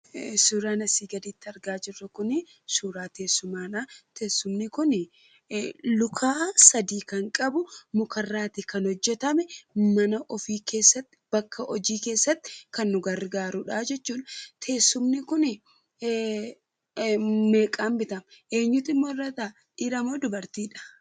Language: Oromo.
Suuraan asii gaditti argaa jirru kunii suura teessumaadhaa. Teessumni kunii luka sadii kan qabu , mukarraatii kan hojjetame, mana ofii keessatti, bakka hojii keessatti kan nu gargaarudhaa jechuudha. Teessumni kuni meeqaan bitame? eenyutu immoo irra taa'a dhiira moo dubartiidha?